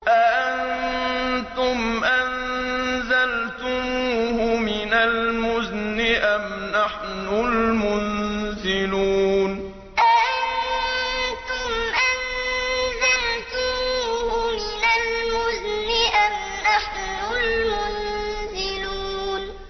أَأَنتُمْ أَنزَلْتُمُوهُ مِنَ الْمُزْنِ أَمْ نَحْنُ الْمُنزِلُونَ أَأَنتُمْ أَنزَلْتُمُوهُ مِنَ الْمُزْنِ أَمْ نَحْنُ الْمُنزِلُونَ